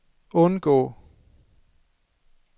undgå